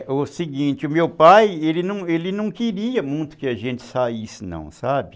É, o seguinte, o meu pai, ele não ele não queria muito que a gente saísse não, sabe?